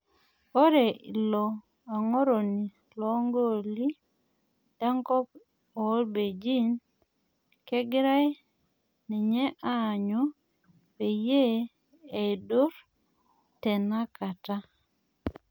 Ore oilo ang'oroni loo goli lenkop oo belgiji kegirae ninye aanyu peyie eidurr tenakata